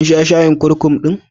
Kin sha shayin kurkum ɗin?